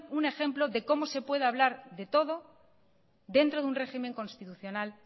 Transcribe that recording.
un ejemplo de cómo de puede hablar de todo dentro de un régimen constitucional